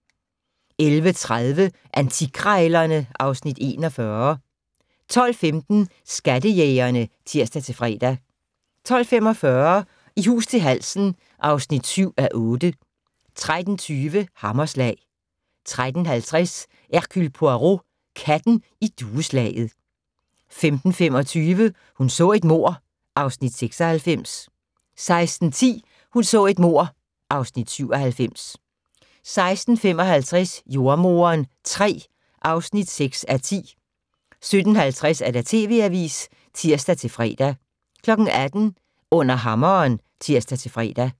11:30: Antikkrejlerne (Afs. 41) 12:15: Skattejægerne (tir-fre) 12:45: I hus til halsen (7:8) 13:20: Hammerslag 13:50: Hercule Poirot: Katten i dueslaget 15:25: Hun så et mord (Afs. 96) 16:10: Hun så et mord (Afs. 97) 16:55: Jordemoderen III (6:10) 17:50: TV Avisen (tir-fre) 18:00: Under hammeren (tir-fre)